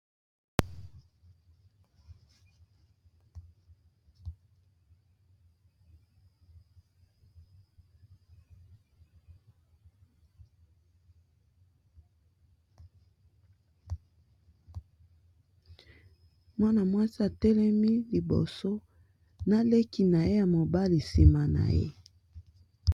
Mwana mwasi a telemi liboso na leki na ye ya mobali sima na ye .